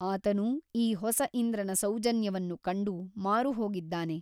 ಆತನೂ ಈ ಹೊಸ ಇಂದ್ರನ ಸೌಜನ್ಯವನ್ನು ಕಂಡು ಮಾರುಹೋಗಿದ್ದಾನೆ.